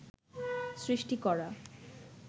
সৃষ্টি করা